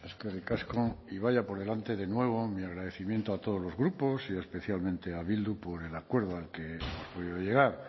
eskerrik asko y vaya por delante de nuevo mi agradecimiento a todos los grupos y especialmente a bildu por el acuerdo al que hemos podido llegar